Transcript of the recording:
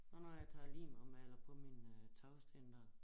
Og når jeg tager lim og maler på mine øh tagsten dér